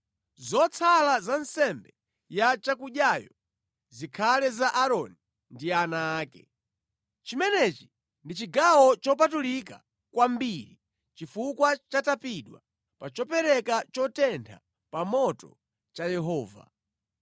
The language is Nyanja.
Zotsala za nsembe ya chakudyayo zikhale za Aaroni ndi ana ake. Chimenechi ndi chigawo chopatulika kwambiri chifukwa chatapidwa pa chopereka chotentha pa moto cha Yehova.